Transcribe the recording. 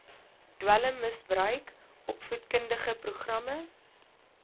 dwelmmisbruik opvoedkundige programme